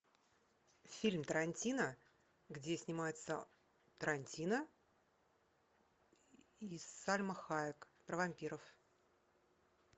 фильм тарантино где снимается тарантино и сальма хайек про вампиров